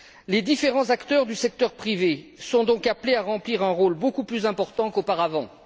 Les différents acteurs du secteur privé sont donc appelés à remplir un rôle beaucoup plus important qu'auparavant.